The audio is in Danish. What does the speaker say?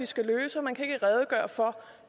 skal løse og man kan ikke redegøre for